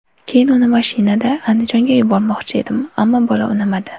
Keyin uni mashinada Andijonga yubormoqchi edim, ammo bola unamadi.